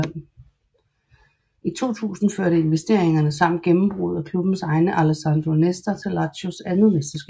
I 2000 førte investeringerne samt gennembruddet af klubbens egen Alessandro Nesta til Lazios andet mesterskab